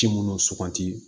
Ci minnu suganti